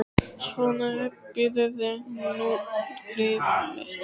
Svona, hypjaðu þig nú út, greyið mitt.